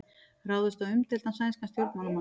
Ráðist á umdeildan sænskan stjórnmálamann